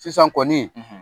Sisan kɔni